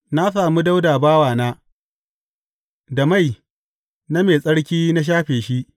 Na sami Dawuda bawana; da mai na mai tsarki na shafe shi.